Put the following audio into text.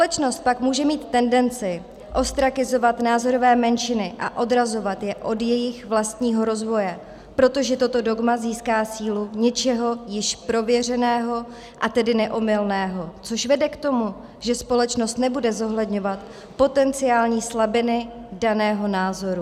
Společnost tak může mít tendenci ostrakizovat názorové menšiny a odrazovat je od jejich vlastního rozvoje, protože toto dogma získá sílu něčeho již prověřeného, a tedy neomylného, což vede k tomu, že společnost nebude zohledňovat potenciální slabiny daného názoru.